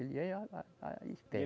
Ele é, a, a esperto.